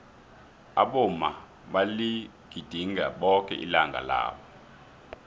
abomma baligidinga boke ilanga labo